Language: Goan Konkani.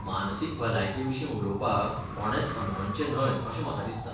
मानसीक भलायके विशीं उलोवपाक कोणेंच अनमनचें न्हय अशें म्हाका दिसता.